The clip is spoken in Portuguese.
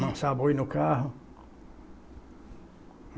lançar boi no carro.